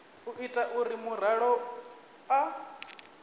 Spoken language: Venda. u ita uri muraḓo a